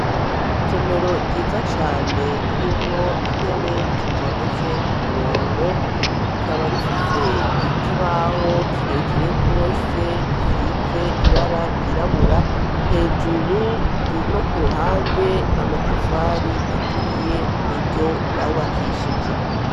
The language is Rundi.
Isomero ryiza cane, ririmwo intebe zitondetse ku murongo, rikaba rifise ikibaho kirekire rwose, gisize ibara ryirabura, hejuru no ku ruhande, amatafari aturiye ni ryo bubakishije.